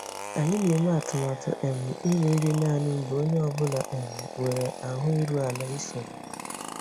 Anyị na-eme atụmatụ um iri nri naanị mgbe onye ọ bụla um nwere ahụ iru ala isonye.